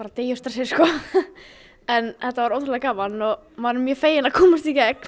deyja úr stressi en þetta var ótrúlega gaman og maður er mjög feginn að komast í gegn